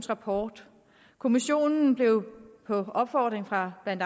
rapport kommissionen blev på opfordring fra blandt